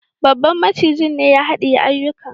Babban macijin ne ya hadiye akuyan.